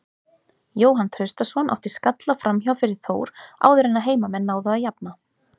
Jóhann Traustason átti skalla framhjá fyrir Þór áður en að heimamenn náðu að jafna.